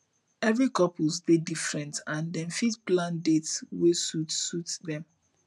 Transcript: every couple dey different and dem fit plan dates wey suit suit dem